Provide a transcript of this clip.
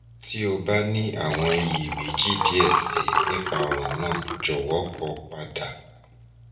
ti o ba ni awọn iyemeji diẹ sii nipa ọran naa jọwọ kọ pada